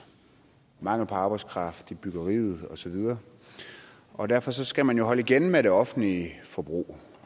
mangel på arbejdskraft i byggeriet osv og derfor skal man jo holde igen med det offentlige forbrug